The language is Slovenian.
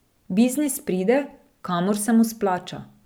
Biznis pride, kamor se mu splača.